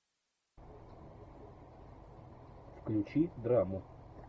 включи драму